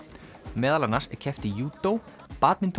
meðal annars er keppt í í júdó badminton